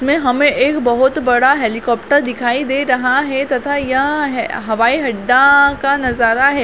इसमें हमें एक बहुत बड़ा हेलीकॉप्टर दखाई दे रहा है तथा ये है हवाई अड्डा का नज़र है।